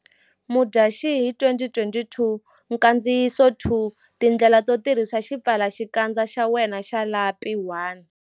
vMudyaxihi 2020 Nkandziyiso 2Tindlela to tirhisa xipfalaxikandza xa wena xa lapi1.